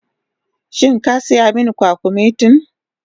Shin ka sayi min kwakumetin?